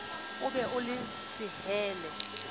o be o le sehelle